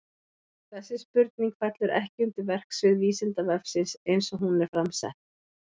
Þessi spurning fellur ekki undir verksvið Vísindavefsins eins og hún er fram sett.